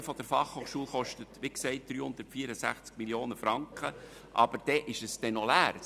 Das Gebäude der Berner Fachhochschule (BFH) kostet wie gesagt 364 Mio. Franken, aber dann steht es noch leer.